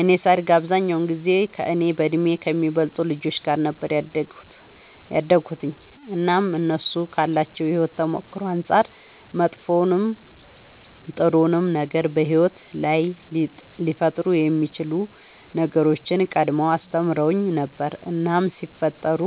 እኔ ሳድግ አብዛኛውን ጊዜ ከእኔ በእድሜ ከሚበልጡ ልጆች ጋር ነበር ያደግሁትኝ እናም እነሱ ካላቸው የሕይወት ተሞክሮ አንጻር መጥፎውንም ጥሩውንም ነገር በሕይወት ላይ ሊፈጠሩ የሚችሉ ነገሮችን ቀድመው አስተምረውኝ ነበር እናም ሲፈጠሩ